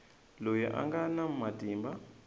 loyi a nga na matimba